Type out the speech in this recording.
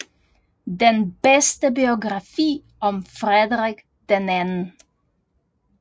Den bedste biografi om Frederik 2